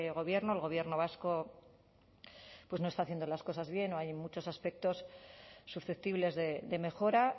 gobierno el gobierno vasco pues no está haciendo las cosas bien o hay muchos aspectos susceptibles de mejora